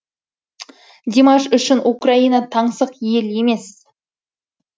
димаш үшін украина таңсық ел емес